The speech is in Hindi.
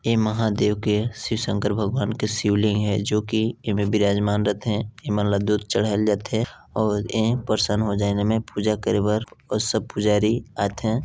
ऐ महादेव के शिव शंकर भगवान के शिव लिंग है जो की ऐमे विराजमान रथे ऐमन ला दूध चढ़ाय ला जाथे अउ ऐ प्रसन्न हो जाय ना में पूजा करे बर सब पुजारी आथे।